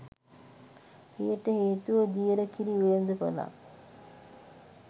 එයට හේතුව දියර කිරි වෙළඳපළක්